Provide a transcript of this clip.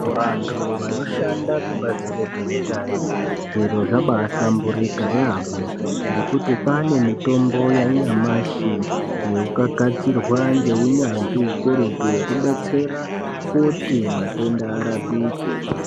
Vantu vanoshanda kubazi rezveutano zviro zvabahlamburuka yambo ngekuti kwanemitombo yanyamashi yokakatirwa ngeunyanzvi hukurutu yekubetsera kuti matenda arapike.